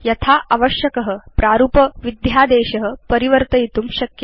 यथा आवश्यक प्रारूपविध्यादेश परिवर्तयितुं शक्य